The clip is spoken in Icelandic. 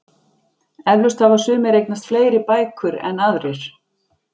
Eflaust hafa sumir eignast fleiri bækur en aðrir.